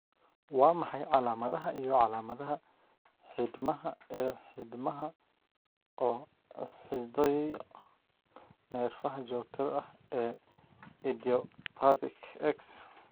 Waa maxay calamadaha iyo calamadaha xiidmaha ee xiidmaha oo xidhidhiyo neerfaha joogtada ah ee idiopathic X?